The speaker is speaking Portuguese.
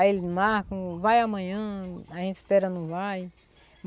Aí eles marcam, vai amanhã, a gente espera não vai.